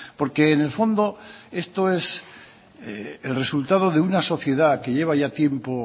porque en el fondo esto es el resultado de una sociedad que lleva ya tiempo